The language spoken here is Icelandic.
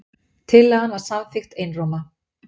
Tillagan var samþykkt einróma